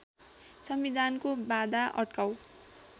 संविधानको बाधा अड्काउ